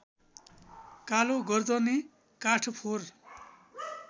कालोगर्दने काठफोर